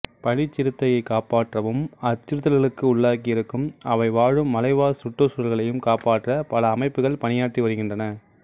பனிச்சிறுத்தையைக் காப்பாற்றவும் அச்சுறுத்தல்களுக்கு உள்ளாகி இருக்கும் அவை வாழும் மலைவாழ் சுற்றுசூழல்களையும் காப்பாற்ற பல அமைப்புகள் பணியாற்றி வருகின்றன